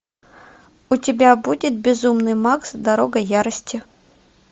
у тебя будет безумный макс дорога ярости